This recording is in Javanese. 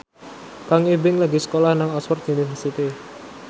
Kang Ibing lagi sekolah nang Oxford university